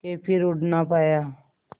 के फिर उड़ ना पाया